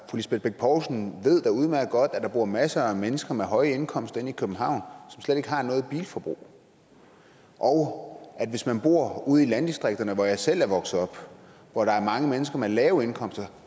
lisbeth bech poulsen ved da udmærket godt at der bor masser af mennesker med høje indkomster inde i københavn som slet ikke har noget bilforbrug og at man hvis man bor ude i landdistrikterne hvor jeg selv er vokset op og hvor der er mange mennesker med lave indkomster